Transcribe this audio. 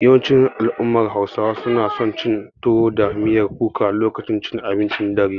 Yawancin al'ummar Hausawa suna son cin tuwo da miyar kuka lokacin cin abincin dare.